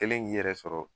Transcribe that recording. Kɛlen k'i yɛrɛ sɔrɔ